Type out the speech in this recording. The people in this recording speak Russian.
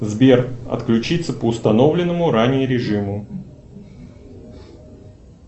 сбер отключиться по установленному ранее режиму